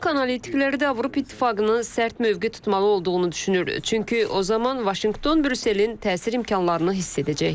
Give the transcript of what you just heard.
Bank analitikləri də Avropa İttifaqının sərt mövqe tutmalı olduğunu düşünür, çünki o zaman Vaşinqton Brüsselin təsir imkanlarını hiss edəcək.